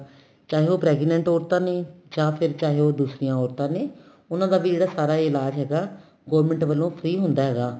ਚਾਹੇ ਉਹ pregnant ਔਰਤਾ ਨੇ ਜਾਂ ਫੇਰ ਚਾਹੇ ਉਹ ਦੂਸਰੀਆਂ ਔਰਤਾ ਨੇ ਉਹਨਾ ਦੀ ਵੀ ਜਿਹੜਾ ਸਾਰਾ ਇਲਾਜ ਹੈਗਾ government ਵਲੋ free ਹੁੰਦਾ ਹੈਗਾ